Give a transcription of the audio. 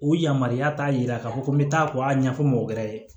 O yamaruya t'a yira ka fɔ ko n bɛ taa ko a ɲɛfɔ mɔgɔ wɛrɛ ye